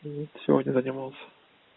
вот сегодня занимался